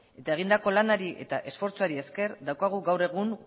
eta egindako lanari eta esfortzuari esker daukagu gaur